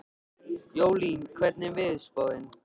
Jólín, hvernig er veðurspáin?